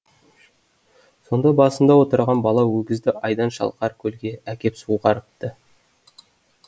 сонда басында отырған бала өгізді айдын шалқар көлге әкеп суғарыпты